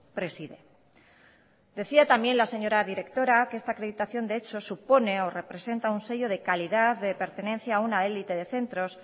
preside decía también la señora directora que esta acreditación de hecho supone o representa un sello de calidad de pertenencia a una élite de centros